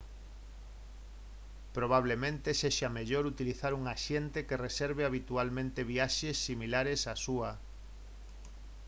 probablemente sexa mellor utilizar un axente que reserve habitualmente viaxes similares á súa